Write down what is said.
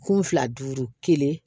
Kun fila duuru kelen